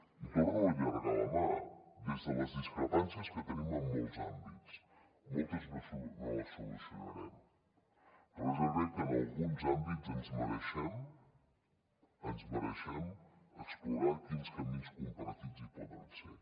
i torno a allargar la mà des de les discrepàncies que tenim en molts àmbits moltes no les solucionarem però jo crec que en alguns àmbits ens mereixem ens ho mereixem explorar quins camins compartits hi poden haver